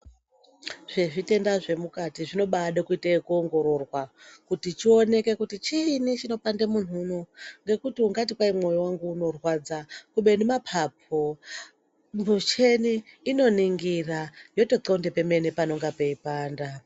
Zvezvitenda zvemukati zvinoda kubaite ekuongororwa kuti chioneke kuti chiini chinopande muntu unoyi ngekuti ungati moyo wangu unorwadza kubeni mapapu muchini inoningira yoto kwlonde pemene panonga peipanda.